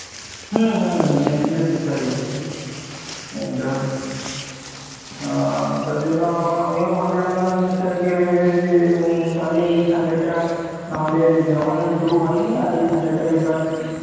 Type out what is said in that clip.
হুম হুম হুম এপ্রিলের দু তারিখ, যা তার জন্য আমিও ভাবলাম কে যে তাহলে এই sunday টা নাহলে যখন শুরু হয়নি এই sunday টা